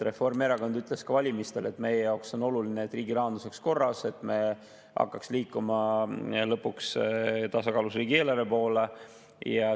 Reformierakond ütles ka valimistel, et meie jaoks on oluline, et riigirahandus oleks korras, et me hakkaks lõpuks liikuma tasakaalus riigieelarve poole.